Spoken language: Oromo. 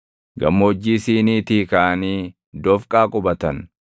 Gammoojjii Siiniitii kaʼanii Dofqaa qubatan.